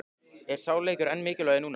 Er sá leikur enn mikilvægari núna?